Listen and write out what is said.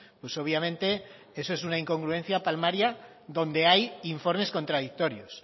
pues obviamente eso es una incongruencia palmaria donde hay informes contradictorios